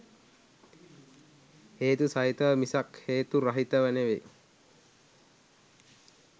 හේතු සහිතව මිසක් හේතු රහිතව නෙවෙයි